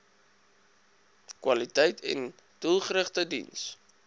kwaliteiten doelgerigte diens